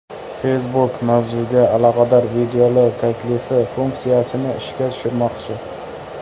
Facebook mavzuga aloqador videolar taklifi funksiyasini ishga tushirmoqchi.